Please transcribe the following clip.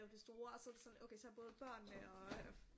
Det store og så er det sådan okay så er både børnene og